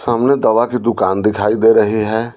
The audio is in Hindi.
सामने दवा की दुकान दिखाई दे रही है।